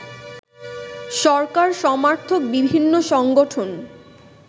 সরকার সমর্থক বিভিন্ন সংগঠন